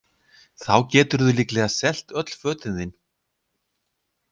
Þá geturðu líklega selt öll fötin þín